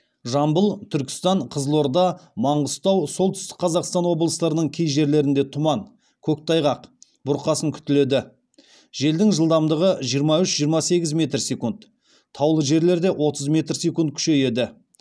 жамбыл түркістан қызылорда маңғыстау солтүстік қазақстан облыстарының кей жерлерінде тұман көктайғақ бұрқасын күтіледі желдің жылдамдығы жиырма үш жиырма сегіз метр секунд таулы жерлерде отыз метр секунд күшейеді